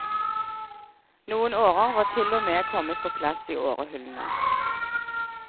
Noen årer var til og kommet på plass i årehullene.